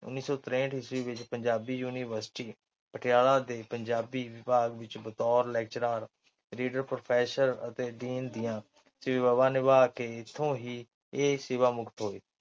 ਉੱਨੀ ਸੌ ਤਰੇਂਹਠ ਈਸਵੀ ਵਿੱਚ ਪੰਜਾਬੀ University ਪਟਿਆਲਾ ਦੇ ਪੰਜਾਬੀ ਵਿਭਾਗ ਵਿੱਚ ਬਤੌਰ lecturer, reader, professor ਅਤੇ Dean ਦੀਆਂ ਸੇਵਾਵਾਂ ਨਿਭਾ ਕਿ ਇੱਥੋਂ ਹੀ ਇਹ ਸੇਵਾ ਮੁਕਤ ਹੋਏ।